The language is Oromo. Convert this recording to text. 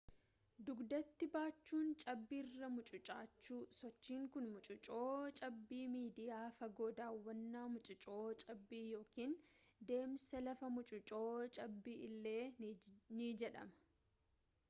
dugdatti-baachuun cabbiirra mucucaachuu sochiin kun mucucoo cabbii baadiyyaa fagoo daawannaa mucucoo cabbii ykn deemsa lafaa mucucoo cabbii illee ni jedhama